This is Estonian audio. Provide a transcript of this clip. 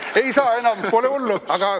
Ei saa enam, aga pole hullu.